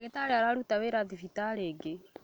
Ndagĩtarĩ araruta wĩra thibitarĩ ĩngĩ